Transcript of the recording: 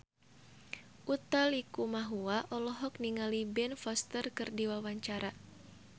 Utha Likumahua olohok ningali Ben Foster keur diwawancara